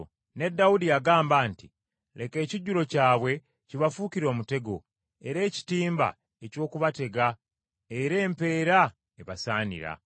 Ne Dawudi yagamba nti, “Leka ekijjulo kyabwe kibafuukire omutego, era ekitimba, eky’okubatega era empeera ebasaanira.